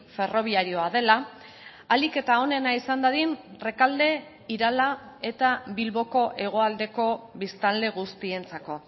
ferrobiarioa dela ahalik eta onena izan dadin rekalde irala eta bilboko hegoaldeko biztanle guztientzako